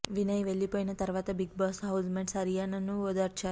వినయ్ వెళ్లిపోయిన తరువాత Bigg Boss housemates అరియానాను ఓదార్చారు